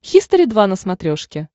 хистори два на смотрешке